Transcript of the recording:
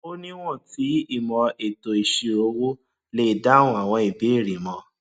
ó niwon tí ìmò ètò ìṣirò owó lè dáhùn àwọn ìbéèrè mọ